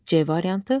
C variantı.